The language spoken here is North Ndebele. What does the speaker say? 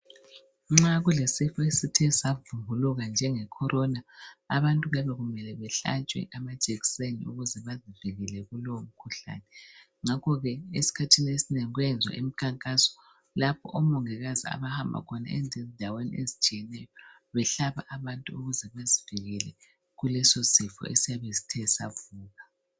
Nxa kulesifo esithe savumbuluka njenge Corona abantu kuyabe kumele behlatshwe amajekiseni ukuze babavikele kulowo mkhuhlane. Ngakho ke esikhathini esinengi kuyayenziwa imikhankaso lapho oMongikazi abahamba khona endaweni ezitshiyeneyo behlaba abantu ukuze bazivikele kuleso sifo esiyabe sithe savuka.